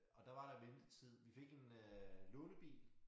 Og der var der ventetid vi fik en øh lånebil